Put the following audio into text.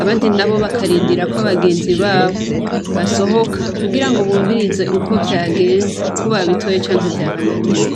abandi nabo bakarindira ko bagenzi babo basohoka kugirango bumvirize uko vyagenze ko babitoye canke vyabananiye.